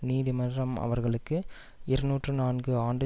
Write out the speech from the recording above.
நீதிமன்றம் அவர்களுக்கு இருநூற்று நான்கு ஆண்டுகள்